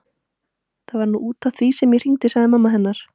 Það var nú út af því sem ég hringdi sagði mamma hennar.